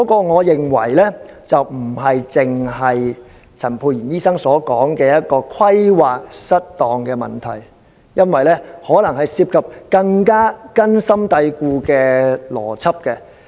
我認為問題不是陳沛然醫生所說的規劃失當，而是可能涉及更根深蒂固的邏輯問題。